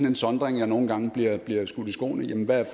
en sondring jeg nogle gange bliver bliver skudt i skoene jamen hvad er